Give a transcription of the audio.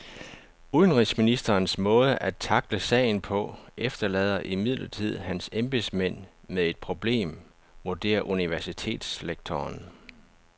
Udenrigsministerens måde at tackle sagen på efterlader imidlertid hans embedsmænd med et problem, vurderer universitetslektoren.